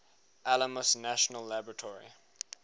alamos national laboratory